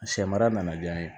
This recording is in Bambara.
Sɛ mara nana diya n ye